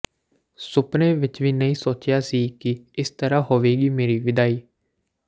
ਸੁਪਨੇ ਵਿਚ ਵੀ ਨਹੀਂ ਸੋਚਿਆ ਸੀ ਕਿ ਇਸ ਤਰ੍ਹਾਂ ਹੋਵੇਗੀ ਮੇਰੀ ਵਿਦਾਈ